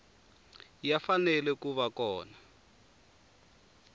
ya fanele ku va kona